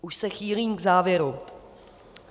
Už se chýlím k závěru.